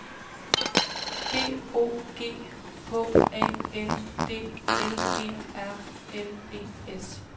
B O G H A N D L E R N E S